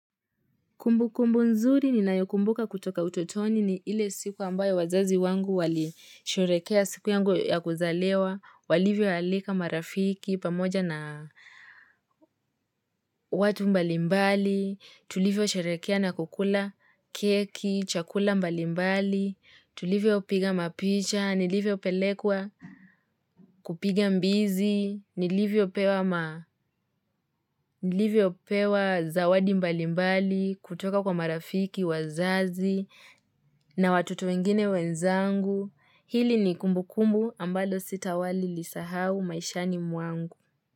Kumbukumbu nzuri ninayokumbuka kutoka utotoni ni ile siku ambayo wazazi wangu walisherehekea siku yangu ya kuzaliwa, walivyoalika marafiki pamoja na watu mbalimbali, tulivyosherehekea na kukula keki, chakula mbalimbali, tulivyopiga mapicha, nilivyopelekwa kupiga mbizi, nilivyopewa pewa zawadi mbalimbali, kutoka kwa marafiki, wazazi, na watoto wengine wenzangu, hili ni kumbukumbu ambalo sitawahi lisahau maishani mwangu.